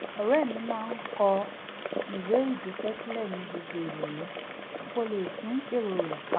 ọ̀rẹ́ mi máa ń kọ ìwé ìdúpẹ́ sílẹ̀ ní gbogbo ìrọ̀lẹ́ kó lè tún èrò rẹ̀ pa